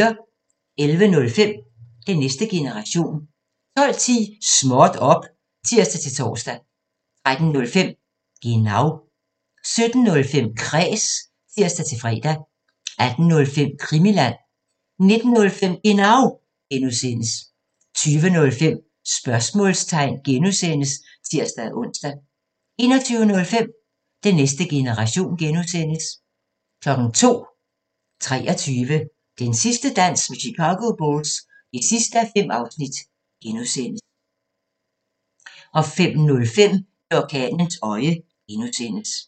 11:05: Den næste generation 12:10: Småt op! (tir-tor) 13:05: Genau 17:05: Kræs (tir-fre) 18:05: Krimiland 19:05: Genau (G) 20:05: Sportsmålstegn (G) (tir-ons) 21:05: Den næste generation (G) 02:00: 23 – Den sidste dans med Chicago Bulls (5:5) (G) 05:05: I orkanens øje (G)